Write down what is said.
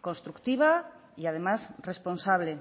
constructiva y además responsable